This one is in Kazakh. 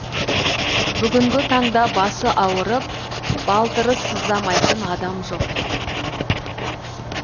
бүгінгі таңда басы ауырып балтыры сыздамайтын адам жоқ